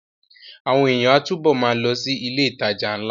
Àwọn èèyàn á túbọ̀ ma lọ sí ilé ìtajà ńlá